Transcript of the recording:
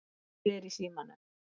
Hver er í símanum?